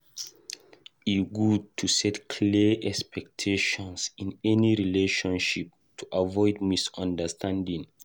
E good to set clear expectations in any relationship to avoid misunderstanding.